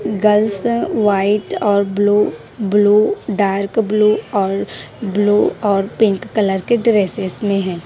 Girls white और blue blue dark blue और blue और पिंक कलर के ड्रेसेस में हैं।